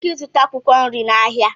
ị nwere ike ịzụta akwụkwọ nri n'ahịa